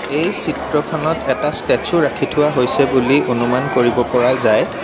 এই চিত্ৰখনত এটা ষ্টেটচো ৰাখি থোৱা হৈছে বুলি অনুমান কৰিব পৰা যায়।